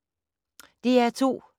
DR2